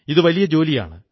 ഇതു വലിയ ജോലിയാണ്